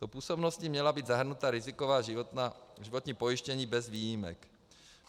Do působnosti měla být zahrnuta riziková životní pojištění bez výjimek.